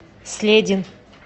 следин